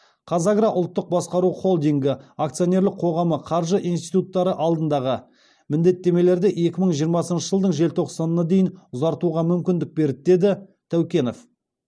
қазагро ұлттық басқару холдингі акционерлік қоғамы қаржы институттары алдындағы міндеттемелерді екі мың жиырмасыншы жылдың желтоқсанына дейін ұзартуға мүмкіндік берді деді тәукенов